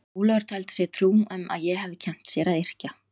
Ólafur taldi sér trú um að ég hefði kennt sér að yrkja.